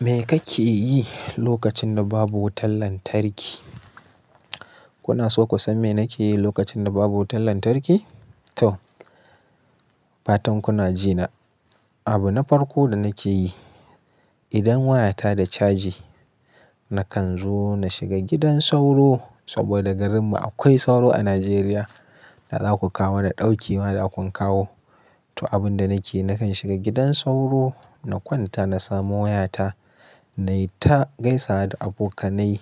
Me kake yi lokacin da babu wutar lantarki? Kuna so ku san me nake yi lokacin da babu wutar lantarki? To, fatan kuna ji na. Abu na farko da nake yi, idan waya ta da caji, nakan zo na shiga gidan sauro saboda garinmu akwai sauro a Najeriya da za ku kawo mana ɗauki ma da kun kawo. To, abun da nake yi, nakan shiga gidan sauro, na kwanta, na samu wayata na yi ta gaisawa da abokanai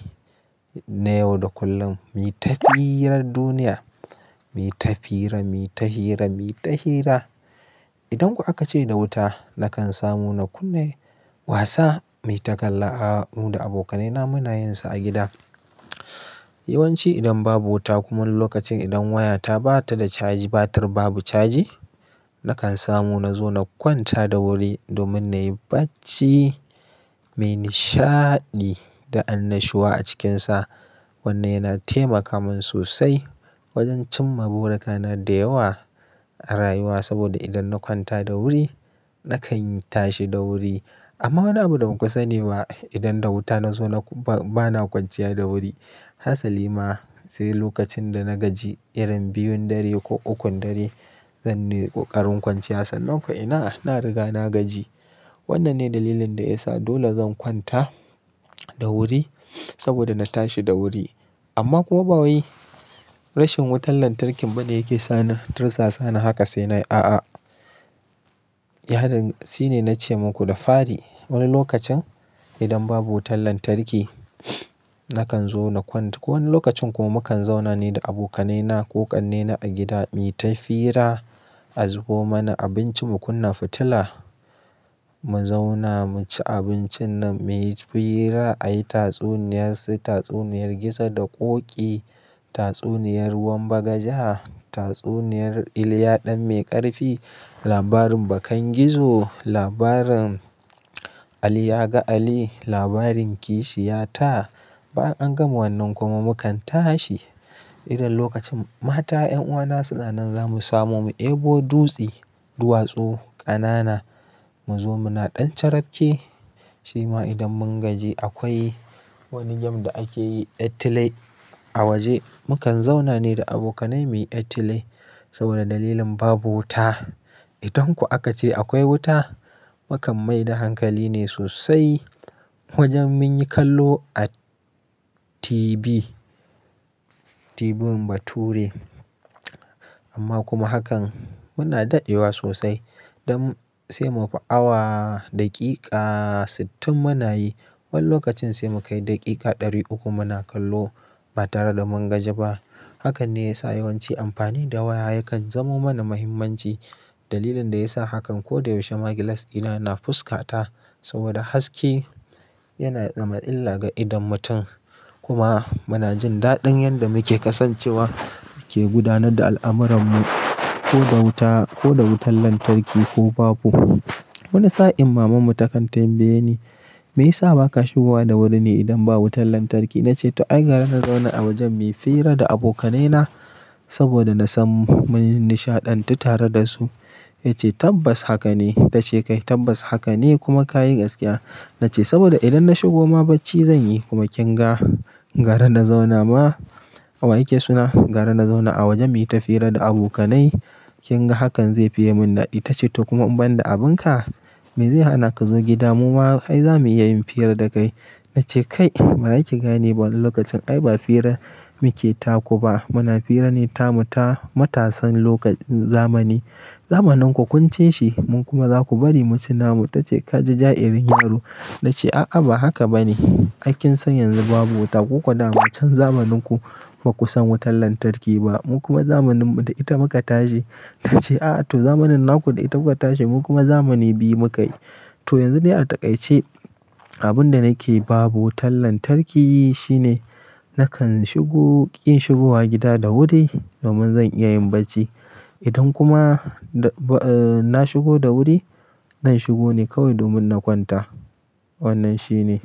na yau da kullum. Mi ta hirar duniya, mi ta fira, mi ta hira, mi ta hira. Idan kuwa aka ce da wuta, nakan samu na kunna wasa mai takalla a mu da abokanaina muna yinsa a gida. Yawanci idan babu wuta kuma lokacin idan waya ta ba ta da caji, batir babu caji, nakan samu na zo na kwanta da wuri domin na yi bacci mai nishaɗi da annashuwa a cikinsa. Wannan yana taimaka min sosai wajen cimma burikana da yawa a rayuwa saboda idan na kwanta da wuri, nakan tashi da wuri. Amma wani abu da baku sani ba idan da wuta na zo na bana kwanciya da wuri. Hassali ma sai lokacin da na gaji irin biyun dare ko ukun dare zan nemi koƙarin kwanciya. Sannan ko ina, na riga na gaji. Wannan ne dalilin da ya sa dole zan kwanta da wuri saboda na tashi da wuri. Amma kuma ba wai rashin wutar lantarki bane yake sa ni tirsasa. Sana haka sai na yi a'a. Ya din shine na ce muku da fari. Wani lokacin idan babu wutar lantarki, nakan zo na kwanta. Wani lokacin kuma mu kan zauna ni da abokanai na ko ƙannena a gida mu yi ta fira a zubo mana abinci mu kunna fitila. Mu zauna mu ci abincin nan, mu yi fira, a yi tatsuniya, su yi tatsuniyar Gizo da Ƙoƙi, tatsuniyar ruwanbagaja, tatsuniyar Iliya Ɗan Mai ƙarfi, labarin Bakan Gizo, labarin Ali ya ga Ali, labarin Kishi ya Ta. Bayan an gama wannan kuma mu kan tashi. Idan lokacin mata, 'yan uwana suna nan za mu samu mu ebo dutsi, duwatsu, ƙanana. Mu zo muna ɗan carafke. Shima idan mun gaji akwai wani game da ake yi ƴartilai a waje. Mu kan zauna ne da abokanai mai ƴartilai saboda dalilin babu wuta. Idan kuwa aka ce akwai wuta, mu kan mai da hankali ne sosai wajen mun yi kallo a TV. Tv bature. Amma kuma hakan muna daɗewa sosai. Don sai mufi awa, daƙiƙa sittin mu na yi. Wani lokacin sai mu kai daƙiƙa ɗari uku mu na kallo ba tare da mun gaji ba. Hakan ne ya sa yawanci amfani da waya yakan zamo mana muhimmanci. Dalilin da ya sa hakan ko da yaushe ma gilas ɗina yana fuska ta saboda haske yana zama illa ga idon mutum. Kuma muna jin daɗin yadda muke kasancewa muke gudanar da al'amuranmu ko da wuta ko da wutar lantarki ko babu. Wani sa'in mamanmu ta kan tambaye ni me ya sa ba ka shigo wa da wuri ne idan babu wutar lantarki. Na ce to ai gara na zauna a wajen mai fira da abokanai na saboda na san mun yi nishaɗantu tare da su. Ta ce tabbas haka ne. Ta ce kai tabbas haka ne kuma ka yi gaskiya. Na ce saboda idan na shigo ma bacci zan yi kuma kin ga gara na zauna ma. Awai ke suna gara na zauna a wajen mai fira da abokanai. Kin ga hakan zai fi yi min daɗi. Ta ce to kuma in ban da abin ka, me zai hana ka zo gida mu ma ai za mu iya yin fira da kai. Na ce kai ba zaki gane ba wani lokacin ai ba fira muke taku ba. Muna fira ne tamu ta matasan lokacin zamani. Zamanin ku kunce shi mun kuma za ku bari mu ci namu. Ta ce ka ji ja'irin yaro. Na ce a'a ba haka ba ne. Ai kin san yanzu babu wuta ko kuwa daman can zamanin ku. Ba ku san wutar lantarki ba. Mun kuma zamanin mu da ita muka tashi. Ta ce a'a to zamanin naku da ita kuka tashi mun kuma zamani biyu muka yi. To yanzu de a ta ƙai ce abun da nake yi babu wutar lantarki shine nakan shigo, ƙin shigowa gida da wuri domin zan iya yin bacci. Idan kuma na shigo da wuri, zan shigo ne kawai domin na kwanta. Wannan shi ne.